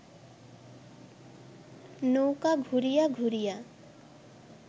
নৌকা ঘুরিয়া ঘুরিয়া